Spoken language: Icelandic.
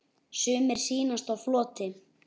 Sumir sýnast á floti.